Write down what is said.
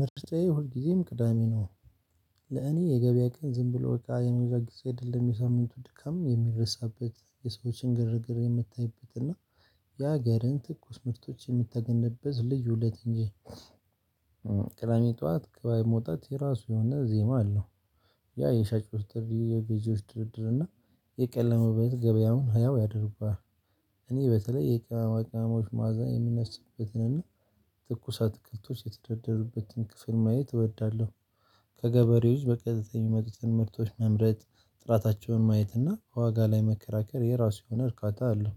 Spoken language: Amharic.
ምርጫየ ሁልጊዜም ቅዳሜ ነው። ለእኔ የገበያ ቀን ዝም ብሎ በቃ የምገዛ ጊዜ አይደለም የሳምንቱ ድካም የሚረሳበት የሰዎችን ግርግር የምታይበት እና የሀገርን ትኩስ ምርቶች የምታገኝበት ልዩ ለት እንጂ። ቅዳሜ ጧዋት ገበያ መውጣት የራሱ የሆነ ዜማ አለው። ያ የሻጭ ውስጥ የገዢዎች ድርድር እና የቀለመበት ገበያም ህያው ያድርጓል። እኔ በተለይ የቅመማ ቅመሞች መዓዛ የምነስብበትንና ትኩሰት አትክልቶች የተደረደሩበትን ክፍል ማየት እወዳለሁ። ከገበሬዎች በቀጥታ የምመጡ ምህርቶች መምረጥ ጥራታቸውን ማየት እና ዋጋ ላይ መከራከር የራሱ የሆነ እርካታ አለው።